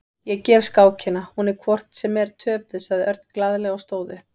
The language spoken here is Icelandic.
Ég gef skákina, hún er hvort sem er töpuð, sagði Örn glaðlega og stóð upp.